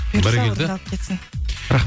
бұйырса орындалып кетсін